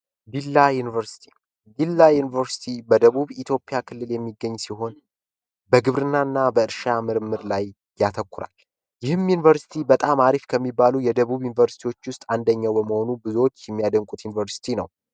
ዲላ ዩኒቨርስቲ ዩኒቨርስቲ በደቡብ ኢትዮጵያ ክልል የሚገኝ ሲሆን በግብርናና በእርሻ ምርምር ላይ ያተኮረ ይህን ዩኒቨርስቲ በጣም አሪፍ ከሚባሉ የደቡብ ዩኒቨርስቲዎች ውስጥ አንደኛው በመሆኑ ብዙዎች የሚያደንቁት ዩኒቨርስቲ ነው